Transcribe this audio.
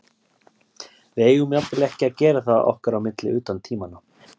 Við eigum jafnvel ekki að gera það okkar á milli utan tímanna.